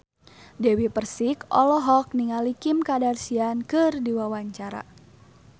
Dewi Persik olohok ningali Kim Kardashian keur diwawancara